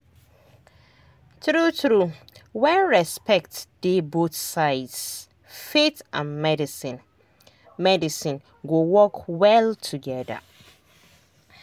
true true when respect dey both sides faith and medicine medicine go work well together.